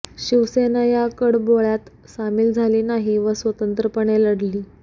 शिवसेना या कडबोळय़ात सामील झाली नाही व स्वतंत्रपणे लढली